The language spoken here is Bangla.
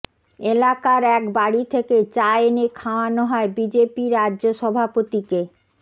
এলাকার এক বাড়ি থেকে চা এনে খাওয়ানো হয় বিজেপি রাজ্য সভাপতিকে